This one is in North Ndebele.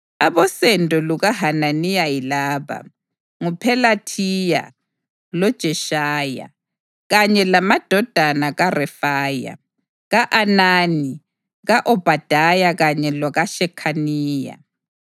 Abosendo lukaHananiya yilaba: nguPhelathiya loJeshaya, kanye lamadodana kaRefaya, ka-Anani, ka-Obhadaya kanye lokaShekhaniya.